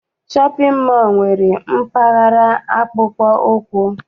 Shọpịn mọọ nwere mpaghara akpụkpọ ụkwụ.